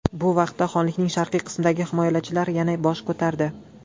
Bu vaqtda xonlikning sharqiy qismidagi himoyachilar yana bosh ko‘tardi.